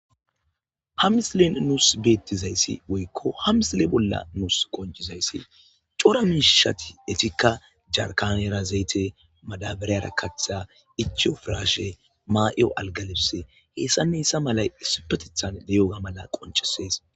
Ha missilen nussi bettizaysi woykko ha missile nussi woykko ha misille bolla nussi qoncizaysi corra mishshatti ettikka jarkanerra zayte madabarara kaththa ichchiyo pirashshe ma'iyo algga libisse hessan hessan malla issipetteththan de'yo malla qoncissees